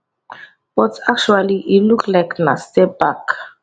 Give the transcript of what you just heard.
but actually e look like na step back